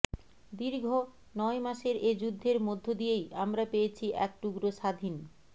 দীর্ঘ নয় মাসের এ যুদ্ধের মধ্য দিয়েই আমরা পেয়েছি এক টুকরো স্বাধীন